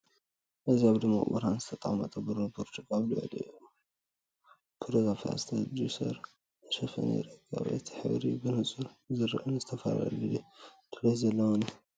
እዚ ኣብ ድሙቕ ብርሃን ዝተቐመጠ ብሩር ብርጭቆ፡ ኣብ ልዕሊኡ ደው ኢሉ ብሮዛ ፕላስቲክ ጁሰር ተሸፊኑ ይርከብ። እቲ ሕብሪ ብንጹር ዝርአን ዝተፈላለየ ጽሬት ዘለዎን እዩ።